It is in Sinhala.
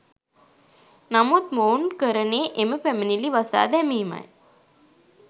නමුත් මොවුන් කරනේ එම පැමිණිලි වසා දැමීමයි.